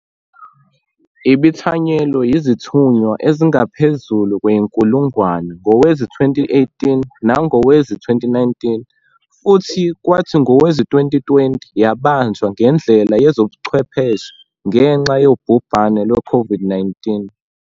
Ibithanyelwe yizithunywa ezingaphezulu kwenkulungwane ngowezi-2018 nangowezi-2019, futhi kwathi ngowezi-2020 yabanjwa ngendlela yezobuchwepheshe ngenxa yobhubhane lweCOVID-19.